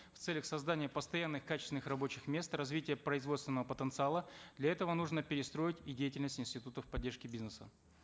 в целях создания постоянных качественных рабочих мест развития производственного потенциала для этого нужно перестроить и деятельность институтов поддержки бизнеса